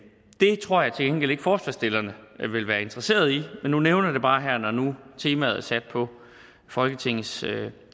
tror jeg til gengæld ikke forslagsstillerne vil være interesseret i men nu nævner jeg det bare her nu når temaet er sat på folketingets